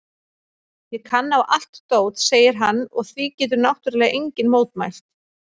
Ég kann á allt dót, segir hann og því getur náttúrlega enginn mótmælt.